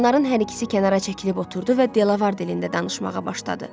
Onların hər ikisi kənara çəkilib oturdu və Delavar dilində danışmağa başladı.